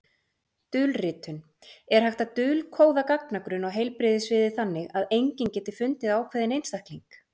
Dulritun Er hægt að dulkóða gagnagrunn á heilbrigðissviði þannig að enginn geti fundið ákveðinn einstakling?